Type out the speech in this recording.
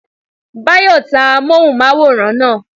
Báyọ̀ ta amóhùnmáwòrán náà